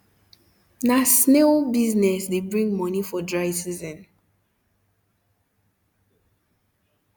na snail um business de bring moni for dry season